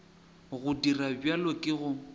go dira bjalo ke go